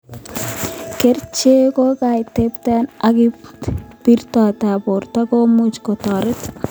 Kerchek kakaetabkei ak birtoetab borto komuch kotaret